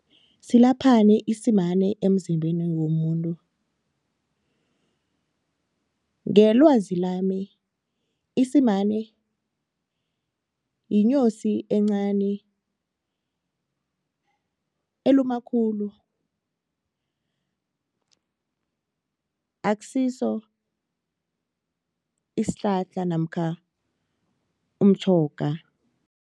Silaphani isimane emzimbeni womuntu? Ngelwazi lami isimane yinyosi encani eluma khulu akusiso isihlahla namkha umtjhoga.